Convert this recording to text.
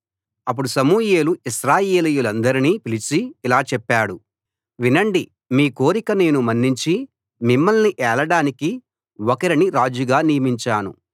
అప్పుడు సమూయేలు ఇశ్రాయేలీయులందరినీ పిలిచి ఇలా చెప్పాడు వినండి మీ కోరిక నేను మన్నించి మిమ్మల్ని ఏలడానికి ఒకరిని రాజుగా నియమించాను